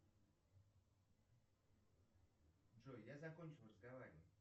джой я закончил разговаривать